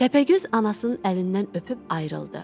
Təpəgöz anasının əlindən öpüb ayrıldı.